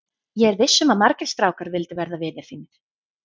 Ég er viss um að margir strákar vildu verða vinir þínir.